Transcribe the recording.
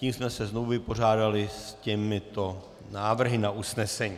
Tím jsme se znovu vypořádali s těmito návrhy na usnesení.